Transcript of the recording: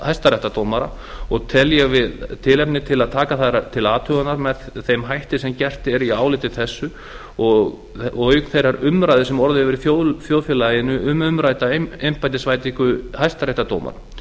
hæstadómara og tel ég tilefni til að taka þær til athugunar með þeim ætti sem gert er í áliti þessu auk þeirrar umræðu sem orðið hefur í þjóðfélaginu um umrædda embættisveitingu hæstaréttardómara